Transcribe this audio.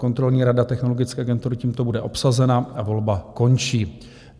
Kontrolní rada Technologické agentury tímto bude obsazena a volba končí.